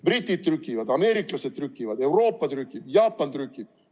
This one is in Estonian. Britid trükivad, ameeriklased trükivad, Euroopa trükib, Jaapan trükib.